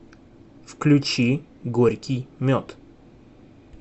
включи горький мед